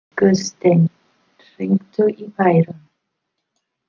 Guðstein, hringdu í Bæron.